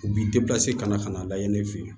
U b'i ka na ka na lajɛ ne fɛ yen